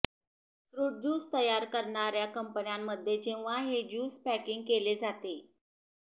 fruit juice तयार करणाऱ्या कंपन्यांमध्ये जेव्हा हे ज्यूस पॅकिंग केले जाते